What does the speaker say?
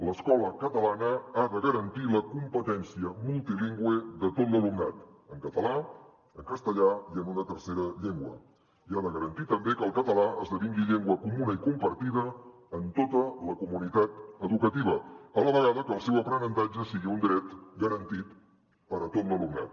l’escola catalana ha de garantir la competència multilingüe de tot l’alumnat en català en castellà i en una tercera llengua i ha de garantir també que el català esdevingui llengua comuna i compartida en tota la comunitat educativa a la vegada que el seu aprenentatge sigui un dret garantit per a tot l’alumnat